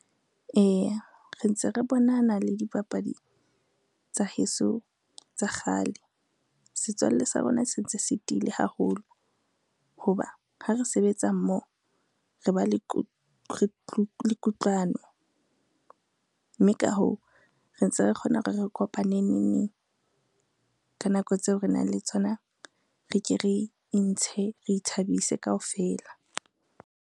Eya re ntse re bonana le dipapadi tsa heso tsa kgale. Setswalle sa rona se ntse se tiile haholo, ho ba ha re sebetsa mmoho, re ba le kutlwano. Mme ka hoo, re ntse re kgona hore re kopane neneng ka nako tseo re nang le tsona, re ke re intshe, re ithabise kaofela.